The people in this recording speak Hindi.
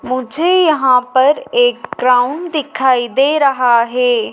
मुझे यहां पर एक ग्राउंड दिखाई दे रहा है।